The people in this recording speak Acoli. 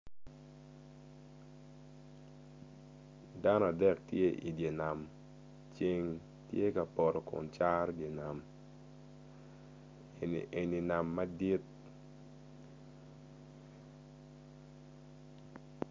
Dano adek atye idi nam cenge tye ka poto kun caro dye nam eni nam madit.